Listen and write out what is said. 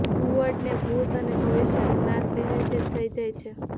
ઘુવડને ભૂત અને ભવિષ્યનું જ્ઞાન પહેલાથી જ થઈ જાય છે